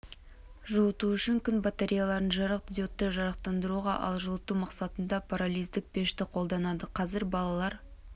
жылыту үшін күн батареяларын жарық диодты жарықтандыруға ал жылыту мақсатында пиролиздік пешті қолданады қазір балалар